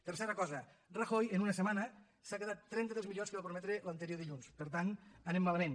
tercera cosa rajoy en una setmana s’ha quedat trenta dels milions que va prometre l’anterior dilluns per tant anem malament